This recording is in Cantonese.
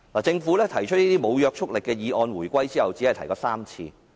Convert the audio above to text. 就這些無約束力議案來說，政府在回歸後只提出過3次。